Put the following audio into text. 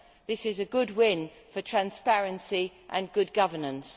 This is a good win for transparency and good governance.